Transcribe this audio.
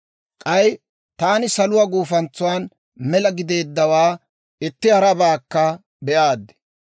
K'ay taani, saluwaa gufantsan mela gideddawaa itti harabaakka be'aaddi.